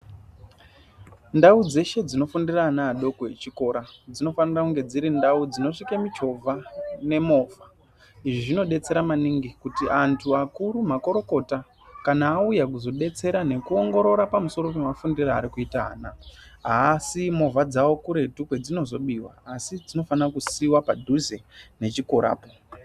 Ndau dzeshe dzinofundira ana adoko echikora dzinofanira kunge dziri ndau dzinosvike michovha nemovha. Izvi zvinodetsera maningi kuti antu akuru makurukota kana auya kuzodetsera nekuongorora pamusoro pemafundire arikuita ana echikora asii movha dzawo kuretu kwedzinozobiwa asi dzinofana kusiiwa padhuze nechikorapo.